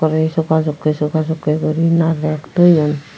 te sobasokke sobasokke guri naarek toyon.